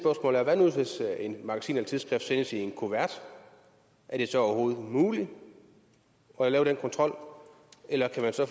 magasin eller et tidsskrift sendes i en kuvert er det så overhovedet muligt at lave den kontrol eller kan man så